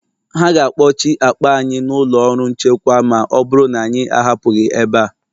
Ha ga-akpọchi akpa anyị n’ụlọ ọrụ nchekwa ma ọ bụrụ na anyị ahapụghị ebe a